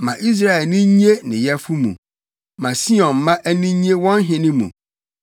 Ma Israel ani nnye ne Yɛfo mu. Ma Sion mma ani nnye wɔn Hene mu.